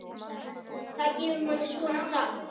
Það gefur manni svona. kraft.